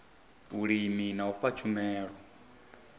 vhulimi na u fha tshumelo